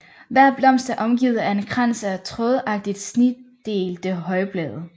Hver blomst er omgivet af en krans af trådagtigt snitdelte højblade